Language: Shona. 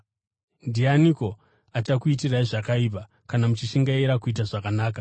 Ndianiko achakuitirai zvakaipa kana muchishingairira kuita zvakanaka?